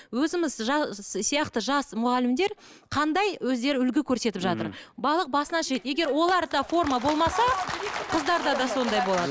өзіміз сияқты жас мұғалімдер қандай өздері үлгі көрсетіп жатыр балық басынан шіриді егер оларда форма болмаса қыздарда да сондай болады